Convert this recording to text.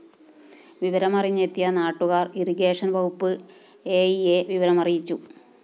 വിവരമറിഞ്ഞെത്തിയ നാട്ടുകാര്‍ ഇറിഗേഷൻ വകുപ്പ് എഇയെ വിവരമറിയിച്ചു